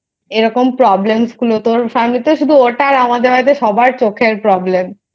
এরকম Problem গুলো তোর Family তে শুধু ওটা আর আমার বাড়িতে সবার চোখের Problem